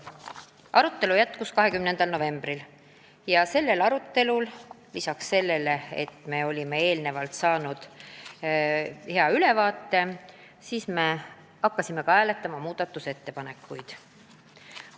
Arutelu jätkus 20. novembril, kui me tänu sellele, et olime eelnõust juba saanud hea ülevaate, hakkasime ka hääletama muudatusettepanekuid.